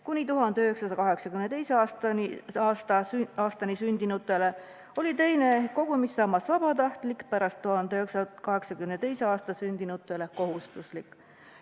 Kuni 1982. aastani sündinutele oli teine kogumissammas vabatahtlik, pärast 1982. aastat sündinutele kohustuslik.